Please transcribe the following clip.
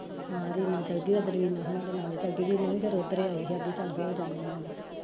ਹਾਂ ਰੀਨਾ ਚਲਗੀ ਓਦਨ ਮੀਨਾ ਹੋਨਾ ਦੇ ਨਾਲ ਈ ਚਲਗੀ, ਮੀਨਾ ਵੀ ਓਦਰ ਏ ਆਈ ਵੀ ਚਲ ਹੋ ਜਾਨੇ ਆਂ